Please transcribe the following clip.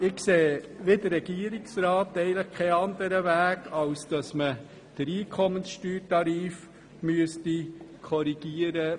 Ich sehe wie der Regierungsrat eigentlich keinen anderen Weg, als den Einkommenssteuertarif zu korrigieren.